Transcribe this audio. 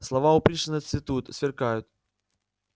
слова у пришвина цветут сверкают